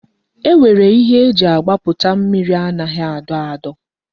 E nwere ihe e ji agbaputa mmiri anaghị adọ adọ